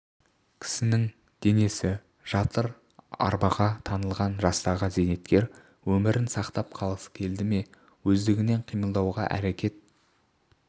кісінің денесі жатыр арбаға таңылған жастағы зейнеткер өмірін сақтап қалғысы келді ме өздігінен қимылдауға әрекет